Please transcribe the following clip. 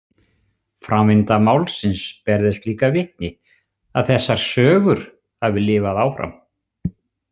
Framvinda málsins ber þess líka vitni að þessar sögur hafi lifað áfram.